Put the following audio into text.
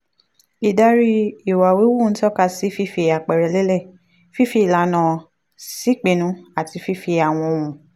ìdarí ìwà híhù ń tọ́ka sí fífi àpẹẹrẹ lélẹ̀ fífi ìlànà ṣèpinnu àti fífi àwọn ohun